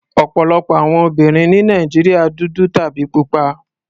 Ọ̀pọ̀lọpọ̀ àwọn obìnrin ní Nàìjíríà dúdú tàbí pupa.